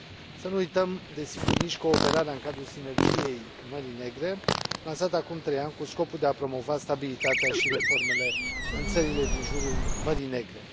Să nu uităm, desigur, nici cooperarea în cadrul Sinergiei Mării Negre, lansată acum trei ani cu scopul de a promova stabilitatea și reformele în țările din jurul Mării Negre.